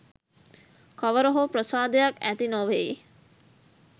කවර හෝ ප්‍රසාදයක් ඇති නොවෙයි.